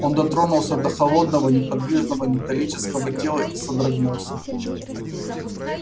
он дотронулся до холодного неподвижного металлического тела и содрогнулся